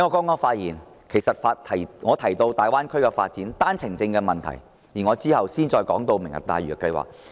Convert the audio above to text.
我在剛才的發言提到大灣區發展及單程證問題，在稍後的辯論環節也會談及"明日大嶼"計劃。